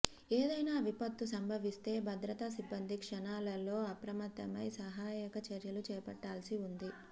ఏదైనా విపత్తు సంభవిస్తే భద్రతా సిబ్బంది క్షణాలలో అప్రమత్తమై సహాయక చర్యలు చేపట్టాల్సి ఉంది